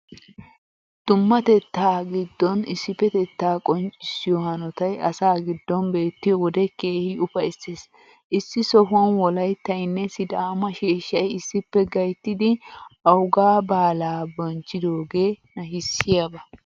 Dummateettaa giddon issippetettaa qonccissiyoo hanotay asaa giddon beettiyo wode keehi ufayssees. Issi sohuwan Wolayttaynne Sidaama sheeshshay issippe gayttidi owgaa baalaa bonchchidoogee nashissiyaba.